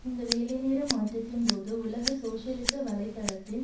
இந்த வேலைநேர மாற்றத்தின்போது உலக சோசியலிச வலை தளத்தின்